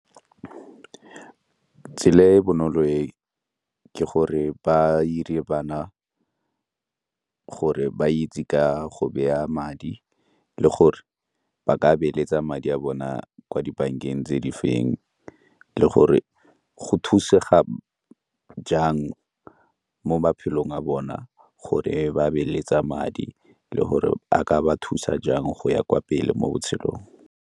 Tsela e e bonolo e ke gore ba 'ire bana gore ba itse ka go beya madi le gore ba ka beeletsa madi a bona kwa dibankeng tse di feng le gore go thusega jang mo maphelong a bona gore ge ba beeletsa madi le gore a ka ba thusa jang go ya kwa pele mo botshelong.